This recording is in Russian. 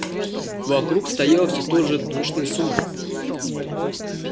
вокруг стоял всё тот же душный сумрак